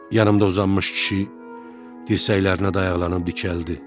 Yanımda uzanmış kişi dirsəklərinə dayaqlanıb dikəldi.